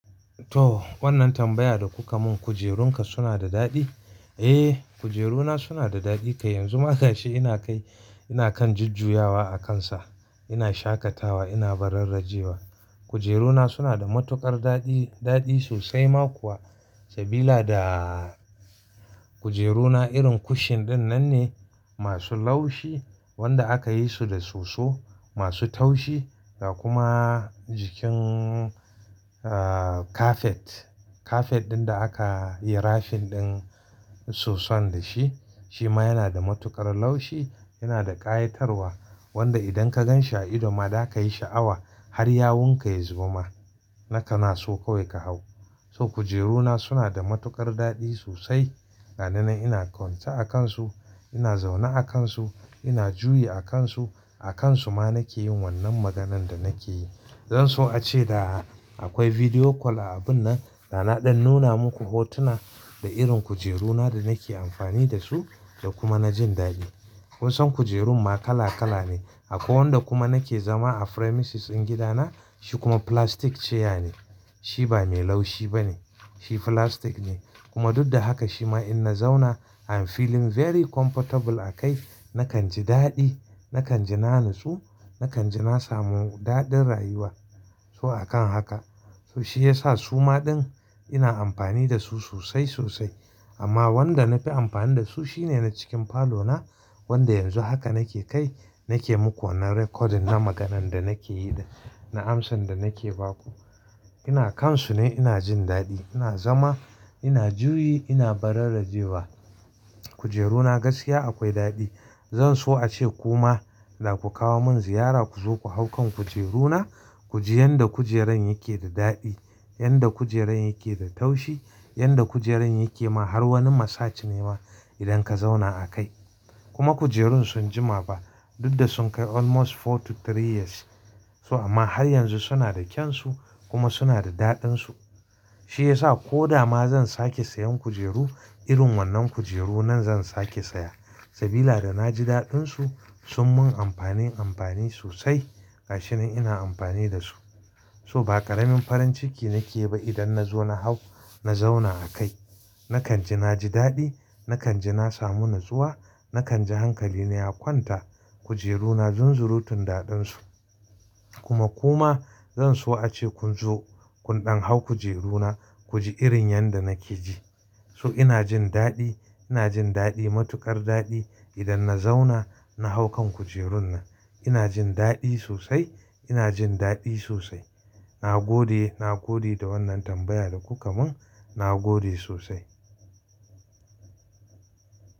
To, wannan tambaya da kuka mun kujerunka suna da daɗi? Eh, kujeru na suna da daɗi kai yanzu ma gashi ina kai, ina kan jujjuyawa a kansu. Ina shakatawa, ina bararrajiya. Kujeru na suna da matuƙar daɗi, daɗi sosai ma kuwa. Sabila da kujeru na irin kushin din nan ne masu laushi wanda aka yi su da soso masu taushi. Ga kuma jikin, ah, kafet. Kafet ɗin da aka yi rafin ɗin soson da shi, shi ma yana da matuƙar laushi yana da ƙayatarwa. Wanda idan ka gan shi a ido ma zaka yi sha'awa har yawun ka ya zuba. Nakanaso kawai ka hau. So kujeru na suna da matuƙar daɗi sosai. Gani nan ina kwance a kansu, ina zaune a kansu, ina juyi a kansu. A kansu ma nake yin wannan maganan da nake yi. Zan so ace da akwai video call a abun nan dana ɗan nuna muku hotuna da irin kujeru na da nake amfani da su da kuma na jin daɗi. Kun san kujerun ma kala kala ne. Akwai wanda kuma nake zama a premises din gida na, shi kuma plastic chair ne. Shi ba mai laushi ba ne, shi plastic ne kuma duka da haka shi ma ina zauna I'm feeling very comfortable a kai. Nakan ji daɗi, nakan ji na nutsu, nakan ji na samu daɗin rayuwa. So akan haka. So shi yasa su ma ɗin ina amfani da su sosai sosai. Amma wanda na fi amfani da su shine na cikin falo na wanda yanzu haka nake kai, nake muku wanan recording na maganan da nake yi da, na amsan da nake ba ku. Ina kansu ne ina jin daɗi, ina zama, ina juyi, ina bararrajiya. Kujeru na gaskiya akwai daɗi. Zan so ace kuma da ku kawo mun ziyara ku zo ku hau kan kujeru na ku ji yanda kujeran yake da daɗi, yanda kujeran yake da taushi, yanda kujeran yake ma har wani massage ne ma idan ka zauna a kai. Kuma kujerun sun jima ba duk da sun kai almost four to three years. So amma har yanzu suna da kyansu kuma suna da daɗinsu. Shi yasa ko da ma zan sake sayan kujeru irin wannan kujeru nan zan sake saya. Sabila da na ji daɗinsu sun mun amfani amfani sosai. Gashi ne ina amfani da su. So ba ƙaramin farin ciki nake yi ba idan na zo na hau na zauna a kai. Nakan ji na ji daɗi, nakan ji na samu natsuwa, nakan ji hankali na ya kwanta. Kujeru na zunzurutun daɗinsu. Kuma ku ma zan so ace kun zo kun ɗan hau kujeru na ku ji irin yanda nake ji. So ina jin daɗi, ina jin daɗi matuƙar daɗi idan na zauna na hau kan kujerun nan. Ina jin daɗi sosai, ina jin daɗi sosai. Na gode, na gode da wannan tambaya da kuka mun. Na gode sosai.